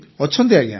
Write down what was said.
ଅଛନ୍ତି ଆଜ୍ଞା